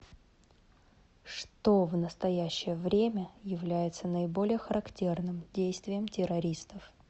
что в настоящее время является наиболее характерным действием террористов